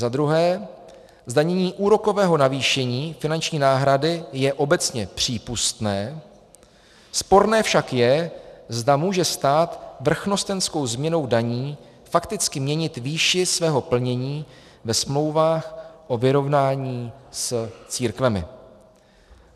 Za druhé, zdanění úrokového navýšení finanční náhrady je obecně přípustné, sporné však je, zda může stát vrchnostenskou změnou daní fakticky měnit výši svého plnění ve smlouvách o vyrovnání s církvemi.